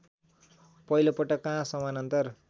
पहिलोपटक कहाँ समानान्तर